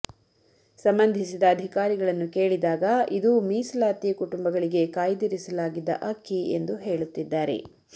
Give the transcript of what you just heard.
ಸಂಬಂಧಿಸಿದ ಅಧಿಕಾರಿಗಳನ್ನು ಕೇಳಿದಾಗ ಇದು ಮೀಸಲಾತಿ ಕುಟುಂಬಗಳಿಗೆ ಕಾಯ್ದಿರಿಸಲಾಗಿದ್ದ ಅಕ್ಕಿ ಎಂದು ಹೇಳುತ್ತಿದ್ದಾರೆ